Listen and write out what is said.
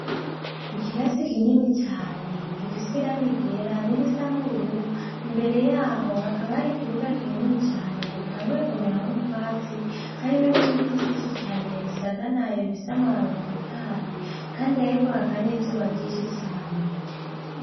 Ikirasi kinini cane gifise iranga igera n'irisa n'ubururu imbere yaho hakaba hari ikibuga kinini cane gitanguyekomeramwo utwatsi harimwo n'ibiti vy'ishi cane bisaganayo bifisamu babatotahaye, kandi hariko hakanizuba gishi cane.